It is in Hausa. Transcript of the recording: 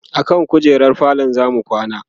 akan kujerar falo zamu kwana